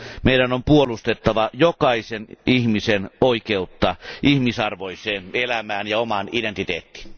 Meidän on puolustettava jokaisen ihmisen oikeutta ihmisarvoiseen elämään ja omaan identiteettiin.